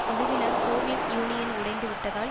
குழுவினர் Soviet Union உடைந்துவிட்டதால்